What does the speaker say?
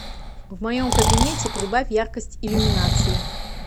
в моем кабинете прибавь яркость иллюминации